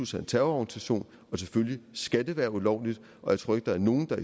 sig en terrororganisation og selvfølgelig skal det være ulovligt og jeg tror ikke der er nogen der